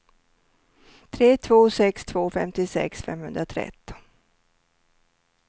tre två sex två femtiosex femhundratretton